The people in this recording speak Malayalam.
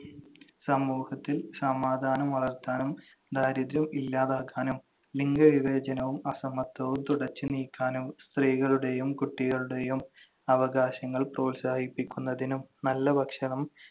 സമൂഹത്തിൽ സമാധാനം വളർത്താനും ദാരിദ്ര്യം ഇല്ലാതാക്കാനും ലിംഗവിവേചനവും അസമത്വവും തുടച്ചുനീക്കാനും സ്ത്രീകളുടെയും കുട്ടികളുടെയും അവകാശങ്ങൾ പ്രോത്സാഹിപ്പിക്കുന്നതിനും നല്ല ഭക്ഷണം